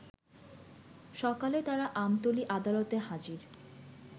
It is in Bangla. সকালে তারা আমতলী আদালতে হাজির